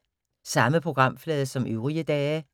Samme programflade som øvrige dage